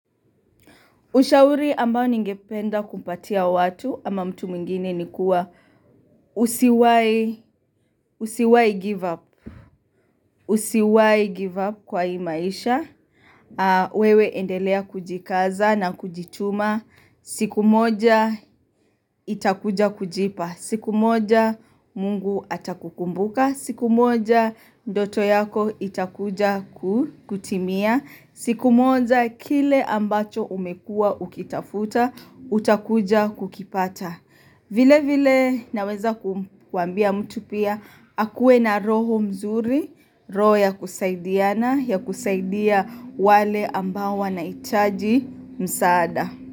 Ushauri ambao ningependa kumpatia watu ama mtu mwingine ni kua usiwai give up kwa hii maisha. Wewe endelea kujikaza na kujituma. Siku moja itakuja kujipa. Siku moja mungu atakukumbuka. Siku moja ndoto yako itakuja kutimia. Siku moja kile ambacho umekua ukitafuta, utakuja kukipata. Vile vile naweza kuambia mtu pia, akue na roho mzuri, roho ya kusaidiana, ya kusaidia wale ambao wanahitaji msaada.